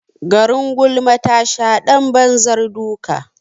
Garin gulma tasha ɗan banzar duka.